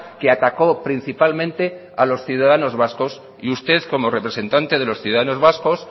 que atacó principalmente a los ciudadanos vascos y usted como representantes de los ciudadanos vascos